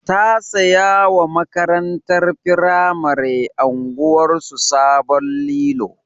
Ta saya wa makatantar firamare unguwarsu sabon lilo.